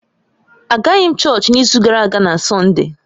Agaghị m chọọchị n’izu gara aga na Sọnde